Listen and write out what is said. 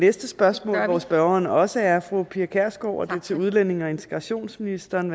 næste spørgsmål hvor spørgeren også er fru pia kjærsgaard og er til udlændinge og integrationsministeren